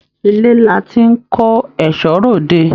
Ilé là tí n kò ẹsọ́ r'ode.